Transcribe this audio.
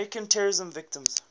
american terrorism victims